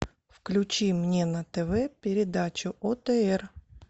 включи мне на тв передачу отр